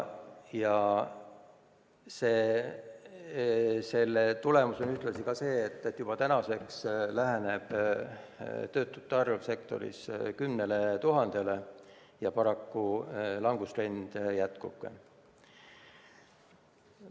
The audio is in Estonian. Ja tagajärg on ühtlasi ka see, et juba täna läheneb töötute arv sektoris 10 000-le ja langustrend paraku jätkub.